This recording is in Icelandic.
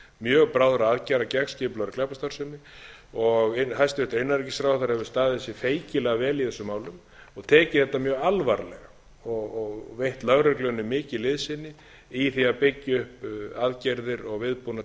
mjög bráðra aðgerða gegn skipulagðri glæpastarfsemi hæstvirtur innanríkisráðherra hefur staðið sig feikilega vel í þessum málum og tekið þetta mjög alvarlega og veitt lögreglunni mikið liðsinni í því að byggja upp aðgerðir og viðbúnað